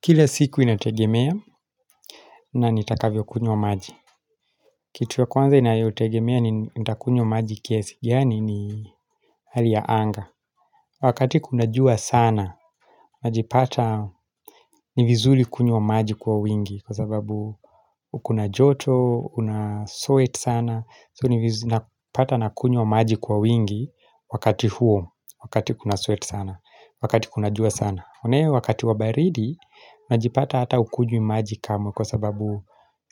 Kila siku inategemea na nitakavyo kunywa maji Kitu ya kwanza inayotegemea ni nitakunywa maji kiasi gani ni hali ya anga Wakati kuna jua sana najipata ni vizuri kunywa maji kwa wingi Kwa sababu kuna joto Unasweat sana So nivizuli napata na kunywa maji kwa wingi Wakati huo Wakati kunasweat sana Wakati kuna jua sana naye wakati wa baridi najipata hata ukunywi maji kama kwa sababu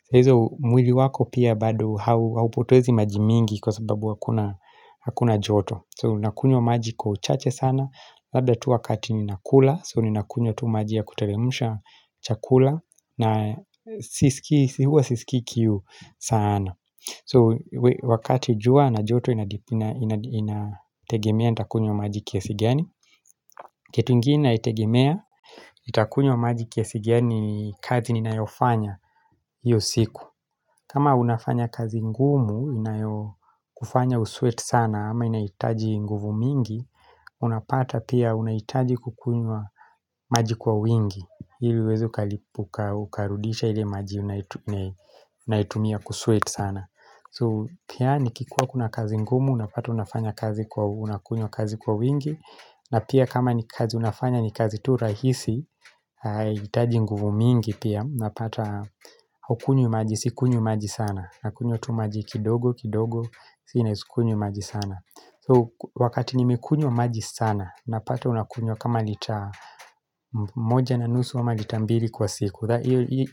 saizo mwili wako pia bado haupotoezi maji mingi kwa sababu hakuna hakuna joto so nakunywa maji kwa uchache sana labda tu wakati ni nakula so ni nakunywa tu maji ya kuteremsha chakula na sisikii si huwa siskii kiu sana so wakati jua na joto inategemea nitakunywa maji kiasi gani kitu ingine naitegemea nitakunywa maji kiasi gani kazi ni nayofanya hio siku kama unafanya kazi ngumu inayo kufanya usweat sana ama inaitaji nguvu mingi Unapata pia unaitaji kukunywa maji kwa wingi ili uweze kalipuka ukarudisha ile maji unaitumia kusweat sana So pia nikikuwa kuna kazi ngumu unapata unafanya kazi kwa unakunywa kazi kwa wingi na pia kama ni kazi unafanya ni kazi tu rahisi huitaji nguvu mingi pia Napata haukunywi maji Sikunywi maji sana Nakunywa tu maji kidogo kidogo Sina isikunywi maji sana So wakati nimekunywa maji sana Napata unakunywa kama lita moja na nusu ama lita mbili kwa siku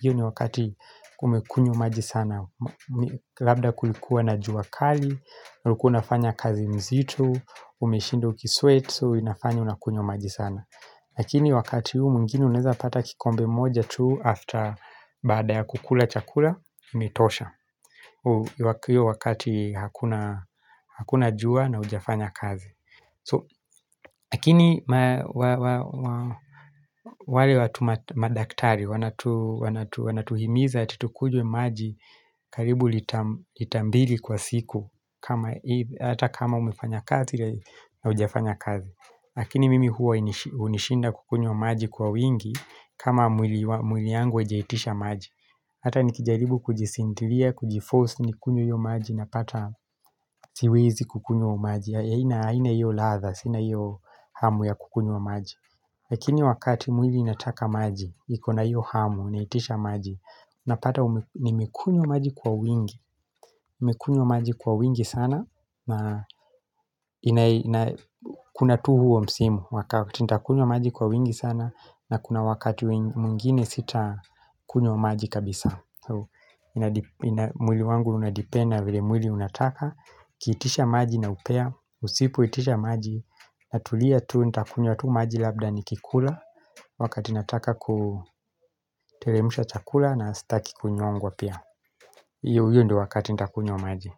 Iyo ni wakati umekunywa maji sana Labda kulikuwa na jua kali ulikuwa unafanya kazi mzito Umeshinda ukisweat so inafanya unakunywa maji sana. Lakini wakati huu mwingine unaeza pata kikombe moja tu after baada ya kukula chakula, imetosha. Hio wakati hakuna jua na ujafanya kazi. So, lakini wale watu madaktari, wanatuhimiza ati tukunywe maji karibu litambili kwa siku ata kama umefanya kazi na ujafanya kazi. Lakini mimi huwa hunishinda kukunywa maji kwa wingi kama mwili yangu haijaitisha maji Hata nikijaribu kujisintilia, kujiforce nikunywe hio maji na pata siwezi kukunywa maji haina haina hiyo ladha, sina hiyo hamu ya kukunywa maji Lakini wakati mwili inataka maji, niko na hiyo hamu, naitisha maji Napata nimekunywa maji kwa wingi nimekunywa maji kwa wingi sana Kuna tu huo msimu Wakati nitakunywa maji kwa wingi sana na kuna wakati mwingine sita kunywa maji kabisa mwili wangu unadepend vile mwili unataka uKiitisha maji na upea Usipoitisha maji natulia tu ntakunywa tu maji labda nikikula Wakati nataka kuteremsha chakula na staki kunyongwa pia hio ndio wakati ntakunywa maji.